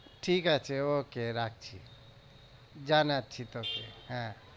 ঠিক আছে okay রাখছি জানাচ্ছি তোকে হ্যাঁ,